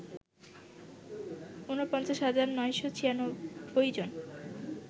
৪৯ হাজার ৯৯৬ জন